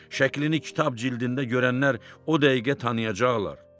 Şəklini kitab cildində görənlər o dəqiqə tanıyacaqlar.